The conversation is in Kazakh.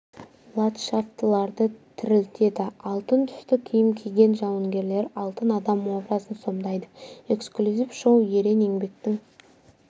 ладшафтыларды тірілтеді алтын түсті киім киген жауынгерлер алтын адам образын сомдайды эксклюзив шоу ерен еңбектің